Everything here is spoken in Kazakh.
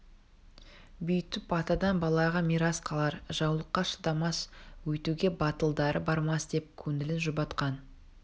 бүйтіп атадан балаға мирас қалар жаулыққа шыдамас өйтуге батылдары бармас деп көңілін жұбатқан